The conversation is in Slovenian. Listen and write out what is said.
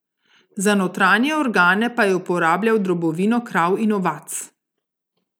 Za notranje organe pa je uporabljal drobovino krav in ovac.